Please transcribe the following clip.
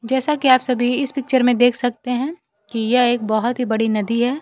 जैसा कि आप सभी इस पिक्चर में देख सकते हैं कि यह एक बहोत ही बड़ी नदी है।